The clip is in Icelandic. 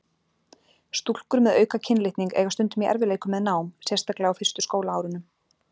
Stúlkur með auka kynlitning eiga stundum í erfiðleikum með nám, sérstaklega á fyrstu skólaárunum.